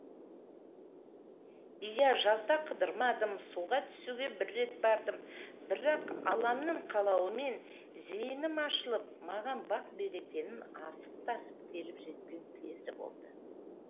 иә жазда қыдырмадым суға түсуге бір рет бардым бірақ алламның қалауымен зейінім ашылып маған бақ берекенің асып тасып келіп жеткен кезі болды